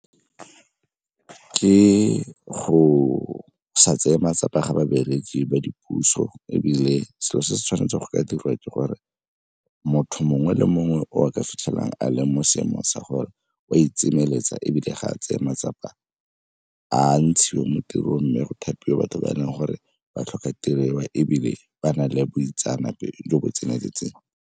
Ke go sa tseye matsapa ga babereki ba dipuso, ebile selo se se tshwanetseng go ka dirwa, ke gore motho mongwe le mongwe o a ka fitlhelang a le mo seemong sa gore o a ebile ga a tseye matsapa a ntshiwe mo tirong, mme go thapiwe batho ba e leng gore ba tlhoka tirelo ya ebile ba na le boitseanape jo bo tseneletseng.